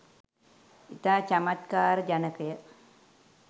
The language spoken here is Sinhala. ඉතා චමත්කාර ජනකය.